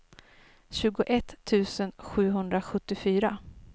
tjugoett tusen sjuhundrasjuttiofyra